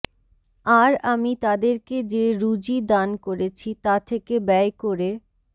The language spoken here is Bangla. আর আমি তাদেরকে যে রুযী দান করেছি তা থেকে ব্যয় করে